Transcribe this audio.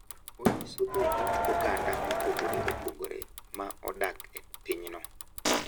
Onyiso dho ut oganda mopogore opogore ma odak e pinyno.